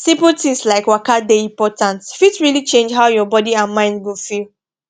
simple things like waka dey important fit really change how your body and mind go feel